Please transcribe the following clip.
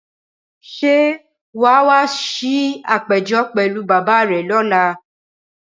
Ṣé wà á wá sí àpéjọ pẹ̀lú bàbá rẹ lọ́la?